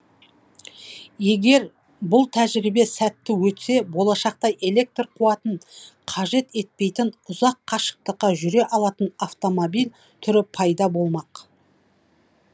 егер бұл тәжірибе сәтті өтсе болашақта электр қуатын қажет етпейтін ұзақ қашықтыққа жүре алатын автомобиль түрі пайда болмақ